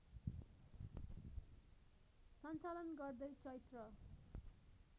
सञ्चालन गर्दै चैत्र